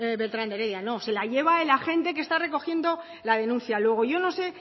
beltrán de heredia no se la lleva el agente que está recogiendo la denuncia luego yo no sé